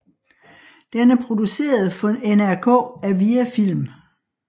Den er produceret for NRK af Viafilm